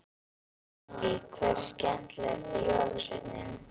Lillý: Hver er skemmtilegast jólasveinninn?